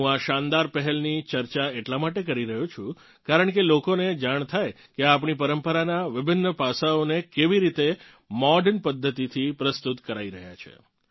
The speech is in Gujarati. હું આ શાનદાર પહેલની ચર્ચા એટલા માટે કરી રહ્યો છું કારણકે લોકોને જાણ થાય કે આપણી પરંપરાનાં વિભિન્ન પાસાંઓને કેવી રીતે મોડર્ન પધ્ધતિથી પ્રસ્તુત કરાઇ રહ્યાં છે